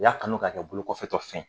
U y'a kanu ka kɛ bolo kɔfɛtɔ fɛn ye